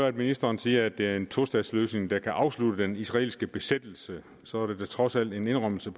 at ministeren siger at det er en tostatsløsning der kan afslutte den israelske besættelse så er der da trods alt en indrømmelse